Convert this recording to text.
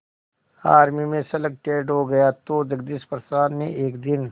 army में selected हो गया तो जगदीश प्रसाद ने एक दिन